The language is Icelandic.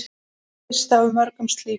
Sá fyrsti af mörgum slíkum.